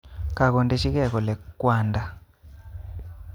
Kakodechike kole kwanda